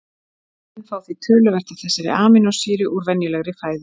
Menn fá því töluvert af þessari amínósýru úr venjulegri fæðu.